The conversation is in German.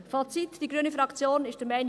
Fazit: Die grüne Fraktion ist der Meinung: